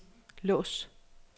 lås